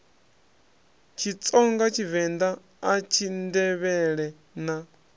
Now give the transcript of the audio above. tshitsonga tshivend a tshindevhele na